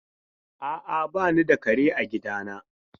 A'a, ba ni da kare a gidana.